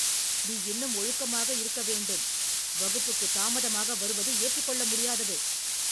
நீ இன்னும் ஒழுக்கமாக இருக்கவேண்டும். வகுப்புக்கு தாமதமாக வருவது ஏற்றுக்கொள்ள முடியாதது